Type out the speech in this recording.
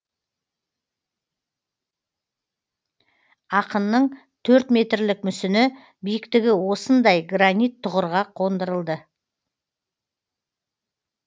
ақынның төртметрлік мүсіні биіктігі осындай гранит тұғырға қондырылды